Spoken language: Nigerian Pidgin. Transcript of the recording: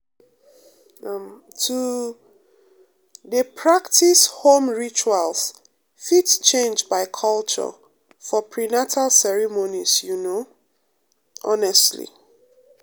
um to um dey practice home rituals fit change by culture for prenatal ceremonies you know um honestly